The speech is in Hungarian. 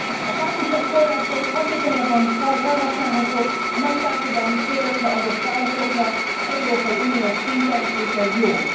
A KF források hatékonyabban felhasználhatók a nagy társadalmi célokra adott válaszokra európai uniós szinten, és ez jó.